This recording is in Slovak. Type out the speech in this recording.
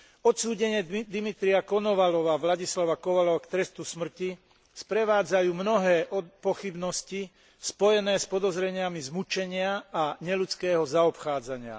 Odsúdenie Dimitrija Konovaľova, Vladislava Kovaľova k trestu smrti sprevádzajú mnohé pochybnosti spojené s podozreniami z mučenia a neľudského zaobchádzania.